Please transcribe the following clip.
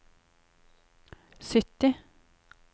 sytti